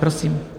Prosím.